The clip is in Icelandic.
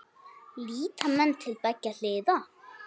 Líta menn til beggja hliða?